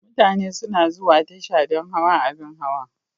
Mutane suna zuwa tasha don hawa abin hawa..